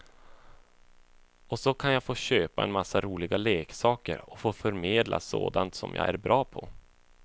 Och så kan jag få köpa en massa roliga leksaker och få förmedla sådant som jag är bra på.